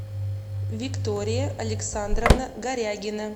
виктория александровна горягина